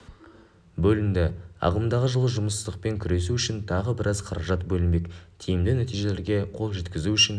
бөлінді ағымдағы жылы жұмыссыздықпен күресу үшін тағы біраз қаражат бөлінбек тиімді нәтижелерге қол жеткізу үшін